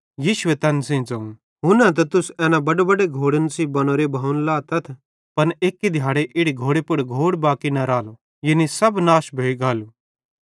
यीशुए तैन सेइं ज़ोवं हुन्ना त तुस एना बड्डेबड्डे घोड़न सेइं बनोरे भवनन लातथ पन एक्की दिहाड़े इड़ी घोड़े पुड़ घोड़ भी न रालो यानी सब नाश भोइ गालू